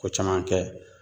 Ko caman kɛ